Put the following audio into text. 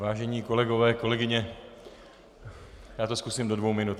Vážení kolegové, kolegyně, já to zkusím do dvou minut.